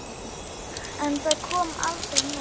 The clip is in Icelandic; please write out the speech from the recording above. En það kom aldrei neinn.